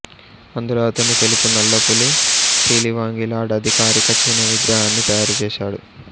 అందులో అతను తెలుపు నల్ల పులి సిలివాంగి లార్డ్ అధికారిక చిహ్నం విగ్రహాన్ని తయారు చేశాడు